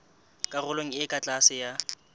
karolong e ka tlase ya